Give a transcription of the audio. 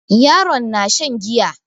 Yaron na shan giya.